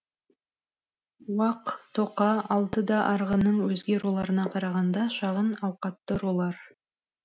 уақ тоқа алты да арғынның өзге руларына қарағанда шағын ауқатты рулар